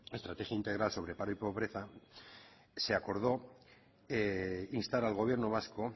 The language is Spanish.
estrategia integral sobre paro y pobreza se acordó instar al gobierno vasco